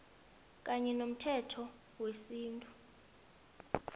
kanye nomthetho wesintu